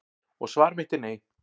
Og svar mitt er nei.